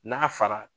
N'a fara